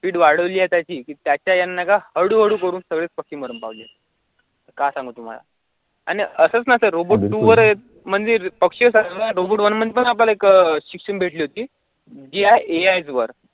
speed वाढवली आहे त्याची की त्या त्या का हळूहळू करून पक्की काय सांगू तुम्हाला आणि असच नसेल, robot two वर मंदिर पक्षी robot one मध्ये पण आपल्याला एक शिक्षण भेटली होती GIAI वर